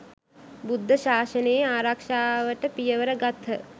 බුද්ධ ශාසනයේ ආරක්‍ෂාවට පියවර ගත්හ.